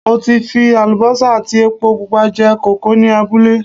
Mo ti fi àlùbọ́sà àti epo pupa jẹ kókò ní abúlé